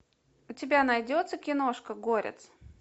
у тебя найдется киношка горец